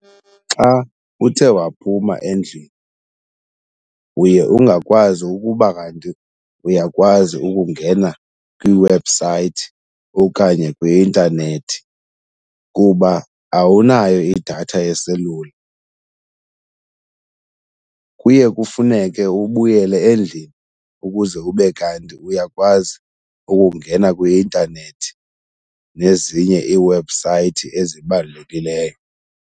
Xa uthe waphuma endlini uye ungakwazi ukuba kanti uyakwazi ukungena kwiwebhusayithi okanye kwi-intanethi kuba awunayo idatha yeselula. Kuye kufuneke ubuyele endlini ukuze ube kanti uyakwazi ukungena kwi-intanethi nezinye iwebhusayithi ezibalulekileyo.